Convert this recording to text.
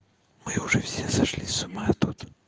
мы уже все сошли с ума тут